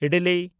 idli